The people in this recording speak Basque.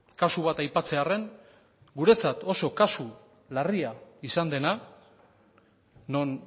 kasu bat aipatzearren guretzat oso kasu larria izan dena non